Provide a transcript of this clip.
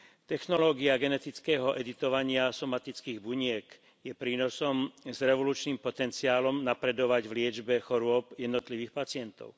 Technológia genetického editovania somatických buniek je prínosom s revolučným potenciálom napredovať v liečbe chorôb jednotlivých pacientov.